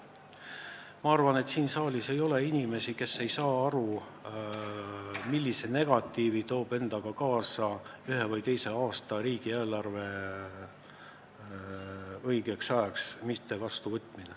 Ma arvan, et siin saalis ei ole inimesi, kes ei saa aru, millised negatiivsed tagajärjed see endaga kaasa toob, kui ühe või teise aasta riigieelarvet õigeks ajaks vastu ei võeta.